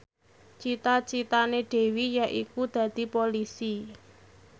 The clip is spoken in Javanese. cita citane Dewi yaiku dadi Polisi